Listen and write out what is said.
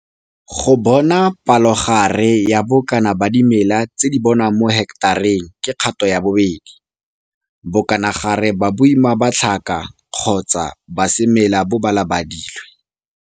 Go bona palogare ya bokana ba dimela tse di bonwang mo heketareng ke kgato ya 2, bokanagare ba boima ba tlhaka kgotsa ba semela bo balabadilwe.